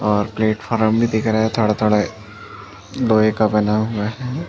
और प्लेटफोर्म दिख रहा है थोड़े-थोड़े लोहै का बना हुआ है।